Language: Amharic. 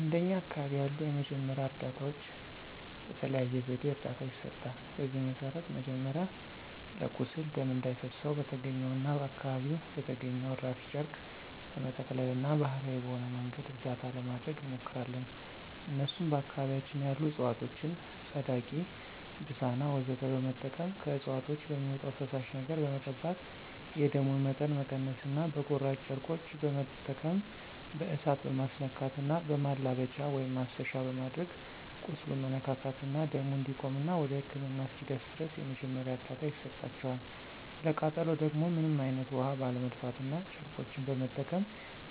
እንደኛ አካባቢ ያሉ የመጀመሪያ እርዳታዎች በተለያየ ዘዴ እርዳታ ይሰጣል። በዚህም መሰረት መጀመሪያ ለቁስል ደም እንዳይፈሰው በተገኘውና አካባቢው በተገኘው እራፊ ጨርቅ በመጠቅለልና ባሀላዊ በሆነ መንገድ እርዳታ ለማድረግ እንሞክራለን እነሱም በአካባቢያችን ያሉ እፅዋቶችን ፀዳቂ፣ ብሳና ወዘተ በመጠቀም ከእፅዋቶች በሚወጣው ፈሳሽ ነገር በመቀባት የደሙን መጠን መቀነስና በቁራጭ ጨርቆች በመጠቀም በእሳት መማስነካትና በማላበቻ(ማሰሻ)በማድረግ ቁስሉን መነካካትና ደሙ እንዲቆምና ወደ ህክምና እስኪደርስ ድረስ የመጀመሪያ እርዳታ ይሰጣቸዋል፣ ለቃጠሎ ደግሞ ምንም አይነት ውሀ ባለመድፋትና ጨርቆችን በመጠቀም